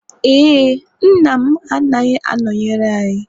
ee, nne m anaghị anọnyere anyị